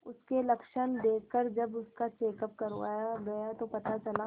उसके लक्षण देखकरजब उसका चेकअप करवाया गया तो पता चला